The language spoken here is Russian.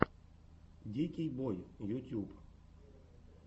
дикий бой ютьюб